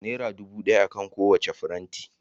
Naira dubu daya akan kowacce faranti